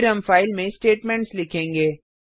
फिर हम फाइल में स्टेटमेंट्स लिखेंगे